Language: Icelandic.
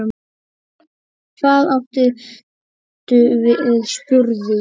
Hvað áttu við spurði ég.